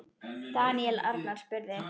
Daníel Arnar spurði